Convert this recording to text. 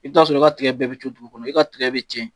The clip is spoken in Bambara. I bɛ t'a sɔrɔ i ka tiga bɛɛ bɛ dugu kɔrɔ i ka tiga bɛ tiɲɛ